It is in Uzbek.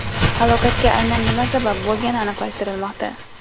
Halokatga aynan nima sabab bo‘lgani aniqlashtirilmoqda.